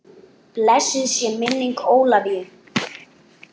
Blessuð sé minning Ólafíu.